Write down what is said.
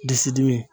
Disi dimi